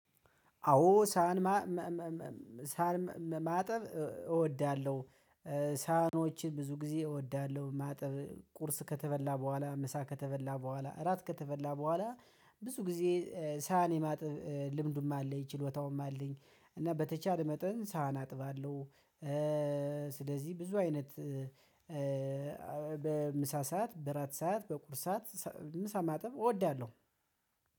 አዎ ሳህን ሳህን ማጠብ እወዳለሁ። ሳህኖችን ብዙ ጊዜ እወዳለሁ ማጠብ ቁርስ ከተበላ በኋላ ምሳ ከተበላ በኋላ እራት ከተበላ በኋላ ብዙ ጊዜ ሳህን የማጥብ ልምዱም አለኝ ችሎታውም አለኝ። እና በተቻለ መጠን ሳህን አጥባለሁ፤። ስለዚህ ብዙ አይነት በምሳ ሰዓት በራት ሰዓት በቁርስ ሰዓት ምሳ ማጠብ እወዳለሁ፤